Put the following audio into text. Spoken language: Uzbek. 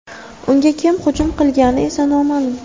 Unga kim hujum qilgani esa noma’lum.